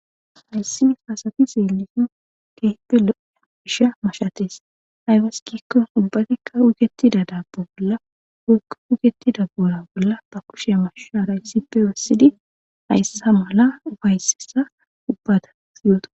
hayssidi haasati zeelisin keeffe lo7ea gisha mashates haybas kikko ubbatikka ugetida daabbo bolla wokka ugetida boora bolla ba kushe masha rayssippe wassidi hayssa mala ufaysesa ubbata siyooto